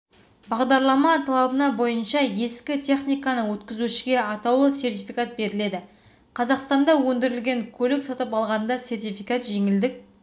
бағдарлама талабына бойынша ескі техниканы өткізушіге атаулы сертификат беріледі қазақстанда өндірілген көлік сатып алғанда сертификат жеңілдік